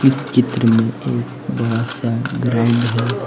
इस चित्र में एक बड़ा सा ग्राउंड है।